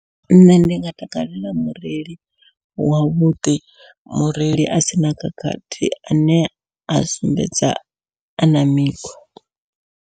Nṋe ndi nga takalela mureili wavhuḓi, mureili a sina khakhathi ane a sumbedza ana mikhwa.